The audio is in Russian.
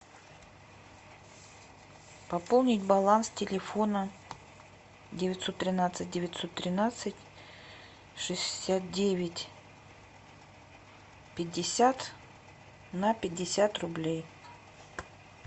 пополнить баланс телефона девятьсот тринадцать девятьсот тринадцать шестьдесят девять пятьдесят на пятьдесят рублей